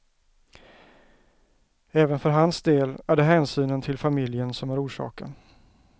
Även för hans del är det hänsynen till familjen som är orsaken.